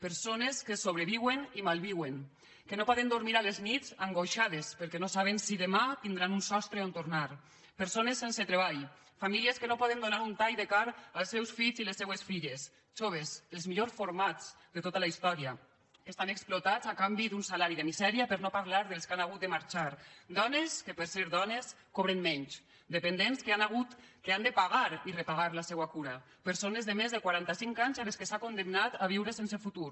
persones que sobreviuen i malviuen que no poden dormir a les nits angoixades perquè no saben si demà tindran un sostre on tornar persones sense treball famílies que no poden donar un tall de carn als seus fills i les seues filles joves els millors formats de tota la història que estan explotats a canvi d’un salari de misèria per no parlar dels que han hagut de marxar dones que per ser dones cobren menys dependents que han de pagar i repagar la seua cura persones de més de quarantacinc anys a qui s’ha condemnat a viure sense futur